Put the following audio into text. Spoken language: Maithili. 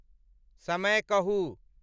समय कहूं